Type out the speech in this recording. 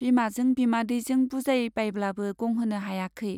बिमाजों बिमादैजों बुजायबायब्लाबो गंहोनो हायाखै।